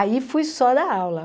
Aí fui só dar aula.